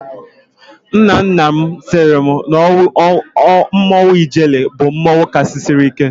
Nna nna m said that Mmanwụ Ijele bụ mmanwụ kachasị ike.